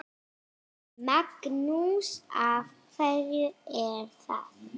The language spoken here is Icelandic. Magnús: Af hverju er það?